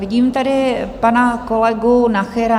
Vidím tady pana kolegu Nachera?